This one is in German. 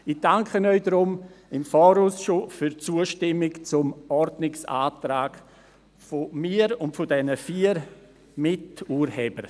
Ich danke Ihnen deshalb im Voraus für die Zustimmung zum Ordnungsantrag von mir und den vier Miturhebern.